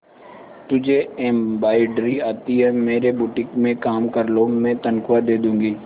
तुझे एंब्रॉयडरी आती है मेरे बुटीक में काम कर लो मैं तनख्वाह दे दूंगी